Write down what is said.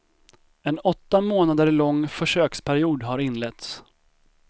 En åtta månader lång försöksperiod har inletts.